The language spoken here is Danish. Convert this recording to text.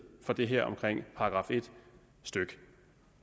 for det her omkring § en stykke